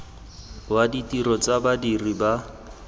wa ditiro tsa badiri ba